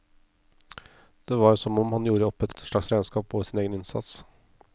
Det var som om han gjorde opp et slags regnskap over sin egen innsats.